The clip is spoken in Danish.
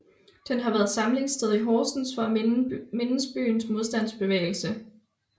Den har været samlingssted i Horsens for at mindes byens modstandsbevægelse